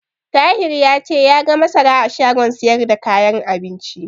Tahir ya ce ya ga masara a shagon siyar da kayan abinci.